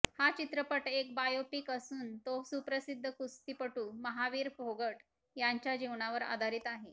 हा चित्रपट एक बायोपिक असून तो सुप्रसिद्ध कुस्तीपटू महावीर फोगट यांच्या जीवनावर आधारित आहे